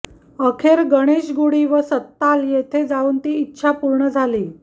अखेर गणेश गुडी व सत्ताल येथे जाऊन ती इच्छा पूर्ण झाली